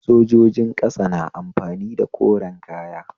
Sojojin ƙasa na amfani da koren kaya